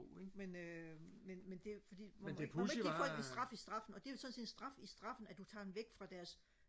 men øh men men det fordi man må ikke man må ikke give folk en straf i straffen og det er jo sådan set en straf i straffen at du tager dem væk fra deres